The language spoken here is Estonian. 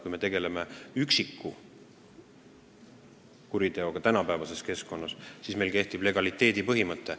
Kui me tegeleme tänapäeval mõne kuriteoga, siis meil kehtib legaliteedi põhimõte.